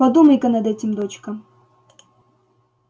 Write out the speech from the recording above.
подумай-ка над этим дочка